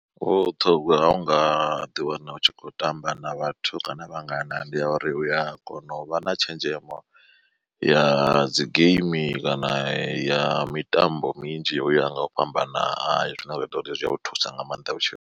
Vhuṱhogwa ha u nga ḓi wana u tshi khou tamba na vhathu kana vhangana ndi ya uri uya kona u vha na tshenzhemo ya dzi geimi kana ya mitambo minzhi uya nga u fhambana hayo zwine zwa ita uri zwi a thusa u nga maanḓa vhutshiloni.